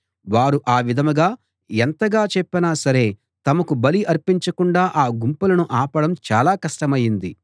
వారు ఆ విధంగా ఎంతగా చెప్పినా సరే తమకు బలి అర్పించకుండా ఆ గుంపులను ఆపడం చాలా కష్టమయింది